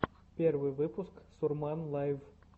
первый выпуск сурман лайв